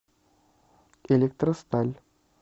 электросталь